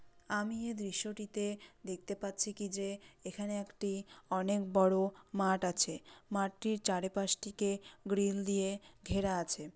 আমি এই দৃশ্য টি তে দেখতে পাচ্ছি কি যে এখানে একটি অনেক বড় মাঠ আছে। মাঠটির চারি পাশটিকে গ্রিল দিয়ে ঘেরা আছে।